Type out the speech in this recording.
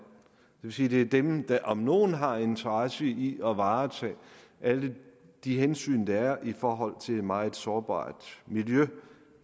vil sige det er dem der om nogen har interesse i at varetage alle de hensyn der er i forhold til et meget sårbart miljø